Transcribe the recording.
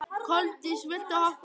Koldís, viltu hoppa með mér?